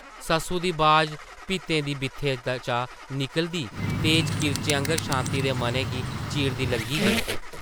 सस्सु दी बाज भित्तें दी बित्थें चा निकलदी तेज किरचें आंगर शांति दे मनै गी चीरदी लंघी गेई ।